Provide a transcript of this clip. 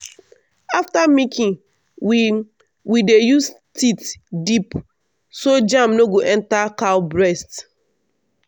after milking we we dey use teat dip so germ no go enter cow breast.